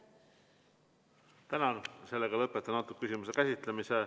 Tänan, lõpetan selle küsimuse käsitlemise.